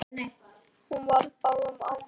Hann var á báðum áttum.